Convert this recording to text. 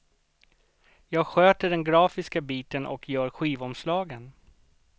Jag sköter den grafiska biten och gör skivomslagen.